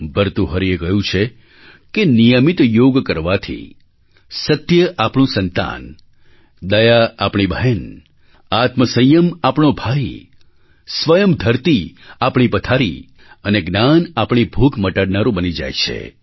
ભર્તુહરિએ કહ્યું છે કે નિયમિત યોગ કરવાથી સત્ય આપણું સંતાન દયા આપણી બહેન આત્મસંયમ આપણો ભાઈ સ્વયં ધરતી આપણી પથારી અને જ્ઞાન આપણી ભૂખ મટાડનારું બની જાય છે